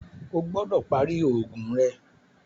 Ọ gbọdọ pari oogun rẹ!